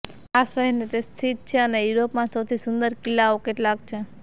આ શહેર તે સ્થિત છે અને યુરોપમાં સૌથી સુંદર કિલ્લાઓ કેટલાક છે